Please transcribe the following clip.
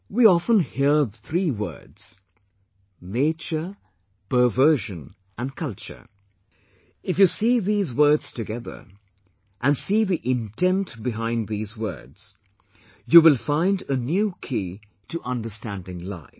We often hear three words nature, perversion and culture if you see these words together and see the intent behind these words, you will find a new key to understanding life